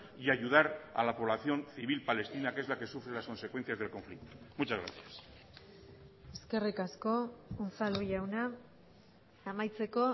y ayudar a la población civil palestina que es la que sufre lasconsecuencias del conflicto muchas gracias eskerrik asko unzalu jauna amaitzeko